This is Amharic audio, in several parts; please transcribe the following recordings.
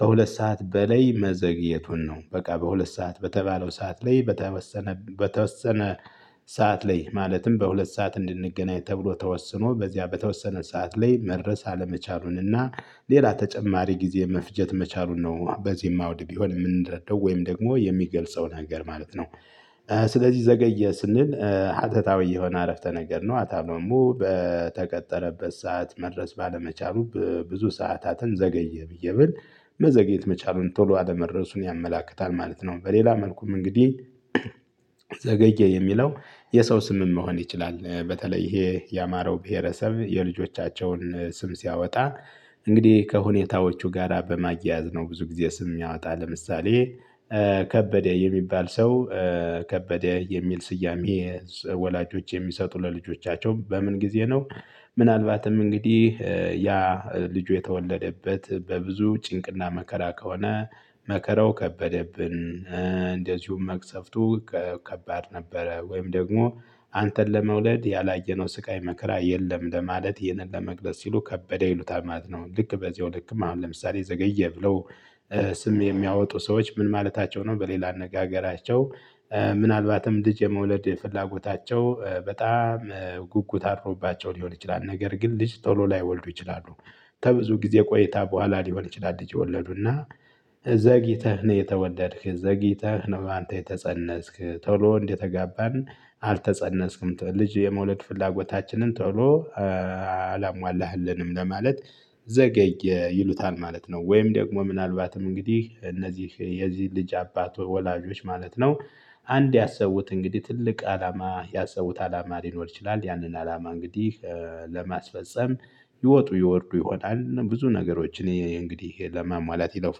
ከሁለት ሰዓት በላይ መዘግየቱን ነው በቃ በሁለት ሰዓት በተባለው ሰዓት ላይ በተወሰነ በተወሰነ ሰዓት ላይ ማለትም በሁለት ሰዓት እንድንገናኝ ተብሎ ተወስኖ በዚያ በተወሰነ ሰዓት ላይ መድረስ አለመቻሉንና ሌላ ተጨማሪ ጊዜ መፍጀት መቻሉን ነው በዚህም አውድግ የሆነ የምንረዳው ወይም ደግሞ የሚገልጸው ነገር ማለት ነው። ስለዚህ ዘገየ ስንል ሀተታዊ የሆነ አረፍተ ነገር ነው። አታም ደግሞ በተቀጠረበት ሰዓት መድረስ ባለመቻሉ በብዙ ሰዓታትን ዘገየ ብዬ በል መዘግየት መቻሉን ቶሎ አለመድረሱን ያመላክታል ማለት ነው። በሌላ መልኩም እንግዲህ ዘገየ የሚለው የሰው ስምም መሆን ይችላል። በተለይ ይሄ ያማራው ብሄረሰብ የልጆቻቸውን ስም ሲያወጣ እንግዲህ ከሁኔታዎቹ ጋራ በማያያዝ ነው። ብዙ ጊዜ ስም የሚያወጣ ለምሳሌ። ከበደ የሚባል ሰው ከበደ የሚል ስያሜ ወላጆች የሚሰጡ ለልጆቻቸው በምን ጊዜ ነው? ምናልባትም እንግዲህ ያ ልጁ የተወለደበት በብዙ ጭንቅና መከራ ከሆነ መከራው ከበደብን እንደዚሁም መቅሰፍቱ ከባድ ነበረ ወይም ደግሞ አንተ ለመውለድ ያላየነው ስቃይ መከራ የለም ለማለት ይህንን ለመግለጽ ሲሉ ከበደ ይሉታል ማለት ነው። ልክ በዚህው ልክም አሁን ለምሳሌ ዘገየ ብለው ስም የሚያወጡ ሰዎች ምን ማለታቸው ነው? በሌላ አነጋገራቸው ምናልባትም ልጅ የመውለድ ፍላጎታቸው በጣም ጉጉት አድሮባቸው ሊሆን ይችላል። ነገር ግን ልጅ ቶሎ ላይወልዱ ይችላሉ። ከብዙ ጊዜ ቆይታ በኋላ ሊሆን ይችላል። ልጅ የወለዱና ዘግይተህ ነው የተወለድክ ዘግይተህ ነው አንተ የተፀነስክ ቶሎ እንደተጋባን አልተፀነስክም ልጅ የመውለድ ፍላጎታችንን ቶሎ አላሟላህልንም ለማለት ዘገይ ይሉታል ማለት ነው። ወይም ደግሞ ምናልባትም እንግዲህ እነዚህ የዚህ ልጅ አባት ወላጆች ማለት ነው። አንድ ያሰቡት እንግዲህ ትልቅ አላማ ያሰቡት አላማ ሊኖር ይችላል። ያንን አላማ እንግዲህ ለማስፈፀም ይወጡ ይወርዱ ይሆናል ብዙ ነገሮች እኔ እንግዲህ ለማሟላት ይለፉ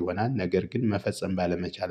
ይሆናል ነገር ግን መፈጸም ባለመቻል